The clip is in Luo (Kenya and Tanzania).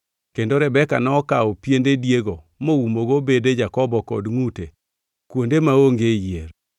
Kendo Rebeka nokawo piende diego moumogo bede Jakobo kod ngʼute kuonde maonge yier.